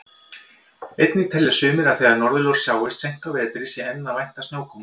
Einnig telja sumir að þegar norðurljós sjáist seint á vetri sé enn að vænta snjókomu.